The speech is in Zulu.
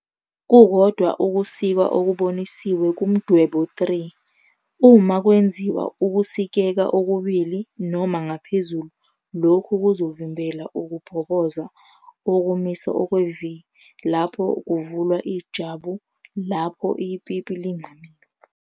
Kukodwa ukusika okubonisiwe kuMdwebo 3, uma kwenziwa ukusikeka okubili noma ngaphezulu lokhu kuzovimbela ukubhoboza okumise okwe-V lapho kuvulwa ijwabu lapho ipipi lingamile.